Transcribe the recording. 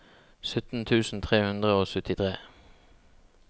sytten tusen tre hundre og syttitre